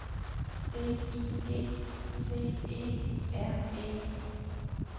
D I G T E R E